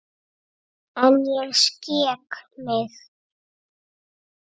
En ég skek mig.